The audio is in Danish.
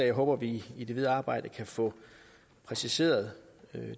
jeg håber vi i det videre arbejde kan få præciseret